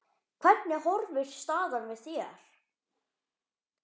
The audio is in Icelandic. Hvernig horfir staðan við þér?